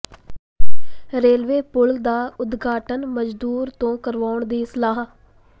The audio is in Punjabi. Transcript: ਰੇਲਵੇ ਪੁਲ ਦਾ ਉਦਘਾਟਨ ਮਜ਼ਦੂਰ ਤੋਂ ਕਰਵਾਉਣ ਦੀ ਸਲਾਹ